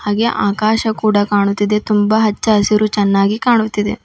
ಹಾಗೇ ಆಕಾಶ ಕೂಡ ಕಾಣುತ್ತಿದೆ ತುಂಬ ಹಚ್ಚ ಹಸಿರು ಚೆನ್ನಾಗಿ ಕಾಣುತ್ತಿದೆ